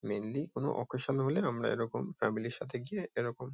mainly কোনো occasion হলে আমরা এরকম ফ্যামিলি -র সাথে গিয়ে এরকম--